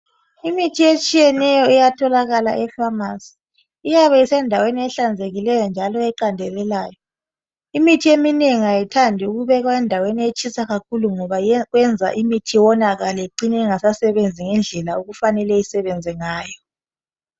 Imithi etshiyeneyo iyatholakala efamasi iyabe isendaweni ehlanzekileyo njalo eqandelelayo. Imithi eminengi ayithandi ukubekwa endaweni etshisa kakhulu ngoba kwenza imithi iwonakale icine ingasa sebenzi ngendlela efanele isebenze ngayo.